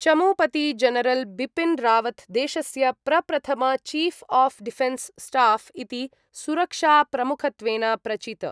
चमूपति general Bipin Rawat देशस्य प्रप्रथम chief of defence staff इति सुरक्षाप्रमुखत्वेन प्रचित।